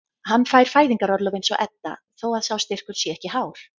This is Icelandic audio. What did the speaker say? Hann fær fæðingarorlof eins og Edda þó að sá styrkur sé ekki hár.